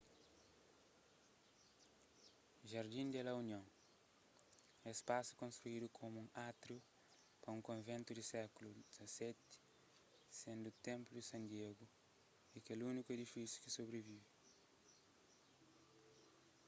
jardín de la unión es spasu konstruidu komu un átriu pa un konventu di séklu xvii sendu ki templo de san diego é kel úniku edifisiu ki sobrivive